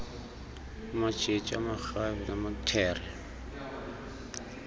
amatshetshi amarhabe namaluthere